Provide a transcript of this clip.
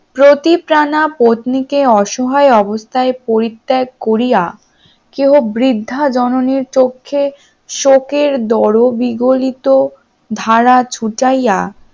প্রতি পানা পত্নীকে অসহায় অবস্থায় পরিত্যাগ করিয়া কেউ বৃদ্ধা জননীর চোখে শোকের দরবিগলিত ধারা ছোটাইয়া